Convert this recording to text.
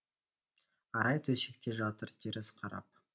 арай төсекте жатыр теріс қарап